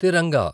తిరంగా